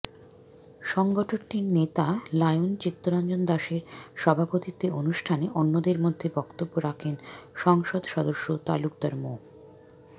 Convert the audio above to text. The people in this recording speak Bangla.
সংগঠনটির নেতা লায়ন চিত্তরঞ্জন দাসের সভাপতিত্বে অনুষ্ঠানে অন্যদের মধ্যে বক্তব্য রাখেন সংসদ সদস্য তালুকদার মো